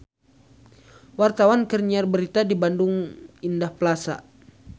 Wartawan keur nyiar berita di Bandung Indah Plaza